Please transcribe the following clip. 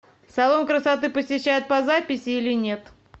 салон красоты посещают по записи или нет